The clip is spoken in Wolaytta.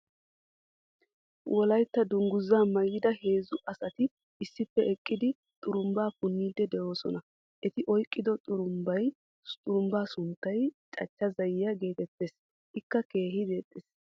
wolaytta danguzaa maayida heezzu asati issippe eqqidi xurumbbaa puniidi deoosona. eti oyqqido xurumbbaa sunttay cachcha zayiyaa geetetteea. ikka keehi deexees.